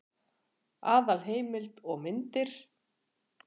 Aðalheimild og myndir: